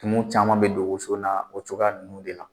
Tumuw caman bɛ don woso na o cogoya ninnu de la.